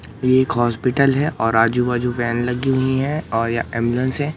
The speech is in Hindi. एक हॉस्पिटल है और आजू बाजू व्हेन लगी हुई है और ये एम्बुलेंस हैं।